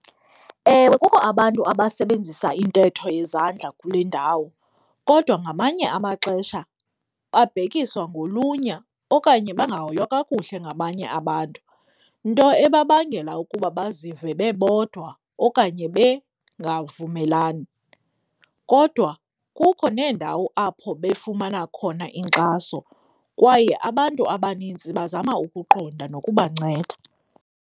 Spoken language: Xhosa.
Ewe, kukho abantu abasebenzisa intetho yezandla kule ndawo kodwa ngamanye amaxesha babhekiswa ngolunya okanye bangahoywa kakuhle ngabanye abantu nto ebabangela ukuba bazive bebodwa okanye bengavumelani. Kodwa kukho neendawo apho befumana khona inkxaso kwaye abantu abanintsi bazama ukuqonda nokubanceda.